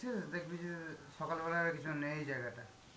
দেখলি যে সকাল বেলায় আর কিছু নেই জায়গা টায়.